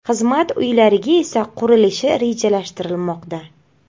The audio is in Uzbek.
Xizmat uylari esa qurilishi rejalashtirilmoqda.